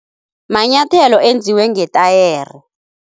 Manyathelo enziwe ngetayere.